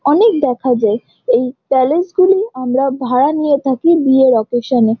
অনেক দেখা যায়। এই প্যালেস গুলি আমরা ভাড়া নিয়ে থাকি বিয়ের অকেশান -এ --